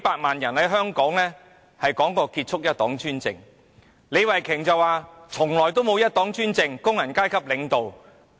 李慧琼議員剛才表示，"一黨專政"從來不存在，中國由工人階級領導。